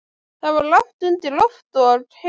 Það var lágt undir loft og heitt.